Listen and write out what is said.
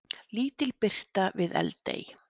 Lítil birta við Eldey